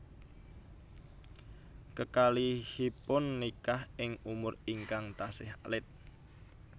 Kekalihipun nikah ing umur ingkang tasih alit